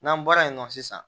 N'an bɔra yen nɔ sisan